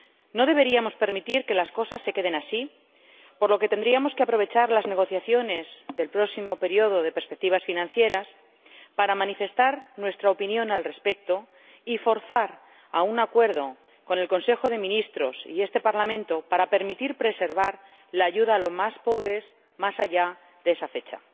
No deberíamos permitir que las cosas se queden así, por lo que tendríamos que aprovechar las negociaciones del próximo periodo de perspectivas financieras para manifestar nuestra opinión al respecto y forzar un acuerdo entre el Consejo de Ministros y este Parlamento para permitir preservar la ayuda a los más pobres más allá de esa fecha.